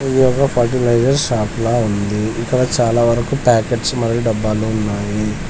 ఇది ఒక fertiliser shop లా ఉంది ఇక్కడ చాలా వరకు ప్యాకెట్స్ మరియు డబ్బాలు ఉన్నాయి.